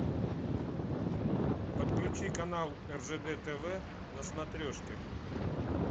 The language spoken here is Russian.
подключи канал ржд тв на смотрешке